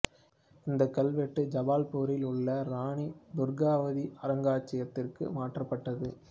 இந்த கல்வெட்டு ஜபல்பூரில் உள்ள இராணி துர்காவதி அருங்காட்சியகத்திற்கு மாற்றப்பட்டது